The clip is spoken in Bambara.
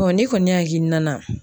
ne kɔni hakilina na